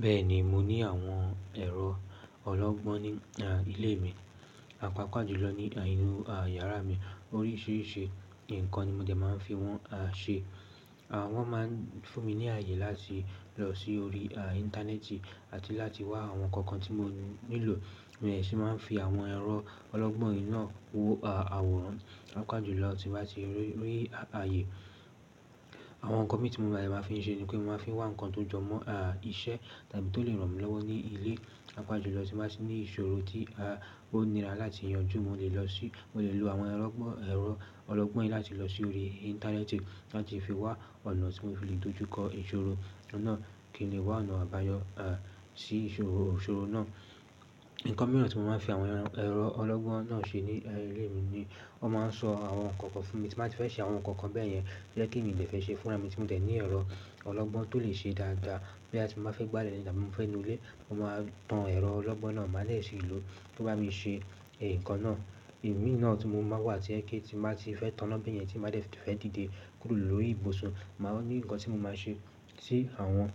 Bẹ́ẹ̀ni, mo ní àwọn ẹ̀rọ ọlọ́gbọ́n ní ilé mi, àpapà jùlọ ní inú yàrá mi. Oríṣìíríṣìí nǹkan ni mo jẹ̀ máa ń fi wọ́n ṣe. Àwọn máa ń fún mi ní àyè láti lọ sí orí Íńtánẹ́ẹ̀tì àti láti wá àwọn nkankan tí mo nílò. Ni mo se máa ń fi àwọn ẹ̀rọ ọlọ́gbọ́n náà wo àwòrán, pàápàá jùlọ tí màá ti rí àyè. Àwọn nkankan mi tí mo jẹ̀ máa fi ń ṣe ni pé mo máa ń fi wá nǹkan tó jọmọ́ iṣẹ́ tàbí tó le ràn mí lọ́wọ́ ní ilé, pàápàá jùlọ tí màá ti ní ìṣòro tí ó nira láti yanjú. Mo lè lo àwọn ẹ̀rọ ọlọ́gbọ́n yìí láti lọ sí orí Íńtánẹ́ẹ̀tì láti fi wá ọ̀nà tí mo fi le dojú kọ ìṣòro náà kí ni wá ọ̀nà àbáyọ sí ìṣòro náà. Ǹkan mìíràn tí mo máa ń fi àwọn ẹ̀rọ ọlọ́gbọ́n náà ṣe ní ilé mi ni wọ́n máa ń sọ àwọn nkankan fún mi tí baá ti fẹ́ ṣe àwọn nkankan bẹ́ẹ̀ yẹn tí yẹ kí n mi se fẹ́ ṣe fúnra mi tí mo dẹ̀ ní ẹ̀rọ ọlọ́gbọ́n tó lè ṣe dáadáa. Bo yatí mo bá fẹ́ gbálẹ̀ tabi tí mo fẹ́ nu ilé, mo máa tan ẹ̀rọ ọlọ́gbọ́n náà, màá lè sì lò ó tó bá mi ṣe nǹkan náà. Imí náà tí mo máa wà tí ẹ kí tí màá ti fẹ́ taná bẹ́ẹ̀ yẹn tí màá dẹ̀ fẹ́ dìde kúrò lórí ibùsùn, màá ní nǹkan tí mo máa ṣe tí àwọn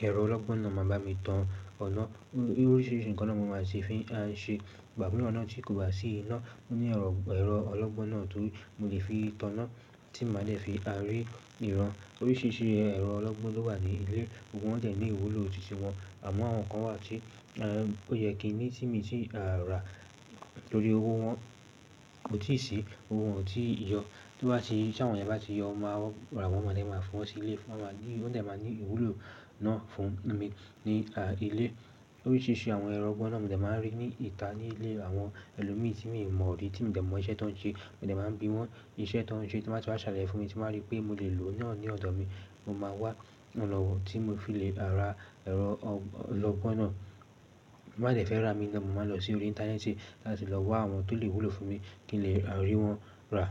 ẹ̀rọ ọlọ́gbọ́n náà máa bá mi tan ọ̀nà. Oríṣìíríṣìí nǹkan ni wo máa sì fi ṣe, igba tí kò bá sí iná, mo ní ẹ̀rọ ọlọ́gbọ́n náà ti mo lè fi taná tí màá dẹ̀ fi ri ìran. Oríṣìíríṣìí ẹ̀rọ ọlọ́gbọ́n ló wà ní ilé, gbogbo wọ́n jẹ̀ ní ìwúlò ti ti wọn. Àmọ́ àwọn kan wà tí ó yẹ kí ní tí mi ti rà torí owó wọn kò tíì sí, owó wọn ò tí ì yọ. Tí àwọn yẹn bá ti yọ, màá rà wọn, wọ́n máa lè máa fún wa sí ilé. Wọ́n dẹ̀ máa ní ìwúlò náà fún mi ní ilé. Oríṣìíríṣìí àwọn ẹrọ ọgbọ́n náà mo dẹ̀ máa ń rí ní ìta ní ilé àwọn ẹlòmíì tí mi o mọ̀ rí tí mi dẹ̀ mọ iṣẹ́ tó ń ṣe. Mo dẹ̀ máa ń bi wọ́n iṣẹ́ tó ń ṣe tí màá ti wá ṣàlàyé fún mi tí màá rí pé mo lè lò náà ní ọ̀dọ̀ mi. Mo máa wá ọ̀nà tí mo fi lè ra ẹ̀rọ ọlọ́gbọ́n náà. Mo máa dẹ̀ fẹ́ rà mí lọ, mo máa lọ sí orí Íńtánẹ́ẹ̀tì láti lọ wá àwọn tó lè wúlò fún mi kí n lè rí wọ́n rà.